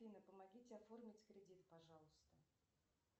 афина помогите оформить кредит пожалуйста